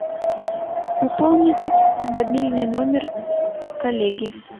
пополнить мобильный номер коллеги